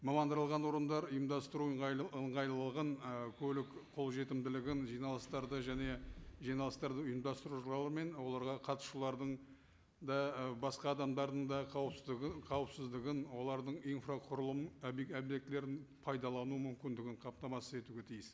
орындар ұйымдастыру ыңғайлығын ы көлік қолжетімділігін жиналыстарды және жиналыстарды оларға қатысушылардың і басқа адамдардың да қауіпсіздігі қауіпсіздігін олардың инфрақұрылым объектілерін пайдалану мүмкіндігін қамтамасыз етуге тиіс